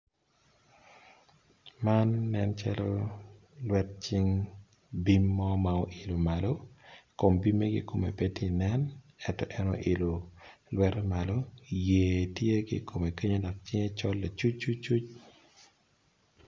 Gimo nen calo lwet cing bim mo ma ilo malo, kom bime ki kome pe ti nen, eto en oilo lwette malo, yer tye ki komme kenyo dok wiye col nicucuc.